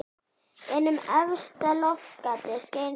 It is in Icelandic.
Inn um efsta loftgatið skein sólin.